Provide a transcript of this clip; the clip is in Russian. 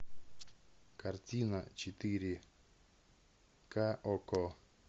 картина четыре ка окко